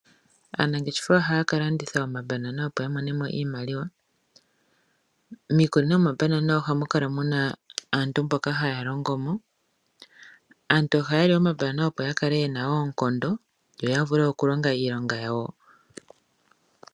Aanangeshefa ohaya ka landitha omambanana ya imonene mo iimaliwa. Miikunino yomambanana ohamu kala muna aantu mboka haya longo mo. Aantu ohaya li omambanana opo ya kale yena oonkondo, yo ya vule okulonga iilonga yawo.